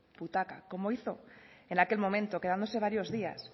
butaca como hizo en aquel momento quedándose varios días